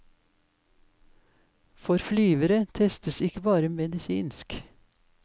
For flyvere testes ikke bare medisinsk.